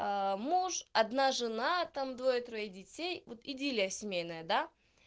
муж одна жена там двое трое детей вот идиллия семейная да